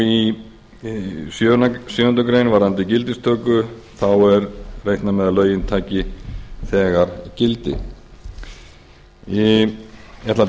í sjöundu greinar varðandi gildistöku þá er reiknað með að lögin taki þegar gildi ég ætla að